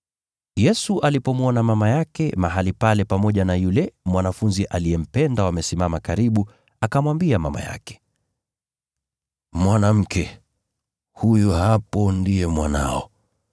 Yesu alipomwona mama yake mahali pale pamoja na yule mwanafunzi aliyempenda wamesimama karibu, akamwambia mama yake, “Mwanamke, huyo hapo ndiye mwanao,”